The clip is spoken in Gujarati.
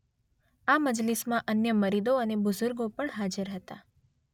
આ મજલિસમાં અન્ય મુરીદો અને બુઝુર્ગો પણ હાજર હતા.